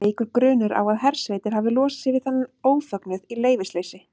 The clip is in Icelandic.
Leikur grunur á að hersveitir hafi losað sig við þennan ófögnuð í leyfisleysi.